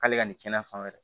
K'ale ka nin cɛnna fan wɛrɛ